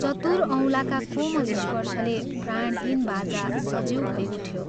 चतुर औलाका कोमल स्पर्शले प्राणहीन बाजा सजीव भै उठ्यो।